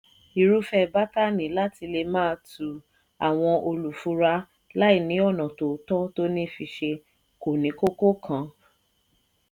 irúfẹ́ bátànì láti lè máa tú àwọn olùfura láì ní ọ̀nà tòótọ́ tó ní fiṣe kò ní kókó kan.